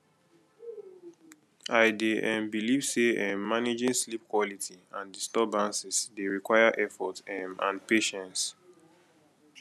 i dey um believe say um managing sleep quality and disturbances dey require effort um and patience